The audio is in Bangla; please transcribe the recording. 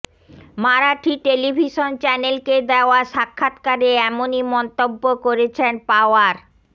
মারাঠি টেলিভিশন চ্যানেলকে দেওয়া সাক্ষাৎকারে এমনই মন্তব্য় করেছেন পাওয়ার